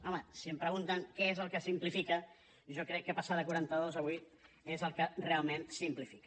home si em pregunten què és el que simplifica jo crec que passar de quaranta dos a vuit és el que realment simplifica